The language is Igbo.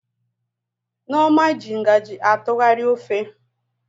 Nneoma ji ngaji atụgharị ofe